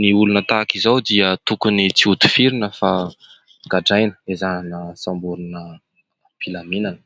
Ny olona tahaka izao dia tokony tsy hotifirina fa gadraina, ezahina samborina am-pilaminana.